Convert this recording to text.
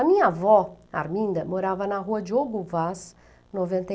A minha avó, Arminda, morava na rua de Diogo Vaz, noventa e